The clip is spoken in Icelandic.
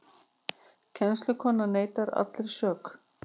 Kennslukonan neitar allri sök